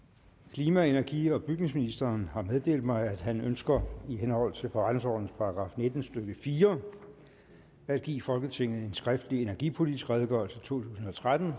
klima energi og bygningsministeren har meddelt mig at han ønsker i henhold til forretningsordenens § nitten stykke fire at give folketinget en skriftlig energipolitisk redegørelse totusinde og trettende